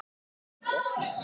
Lokaði sig af.